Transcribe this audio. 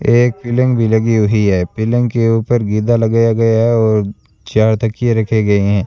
एक पिलंग भी लगी हुई है पिलंग के ऊपर गीदा लगाया गया हैं और चार तकिए रखे गए हैं।